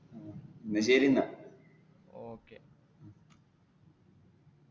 ആ എന്ന ശെരി എന്നാൽ.